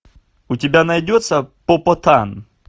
у тебя найдется попотан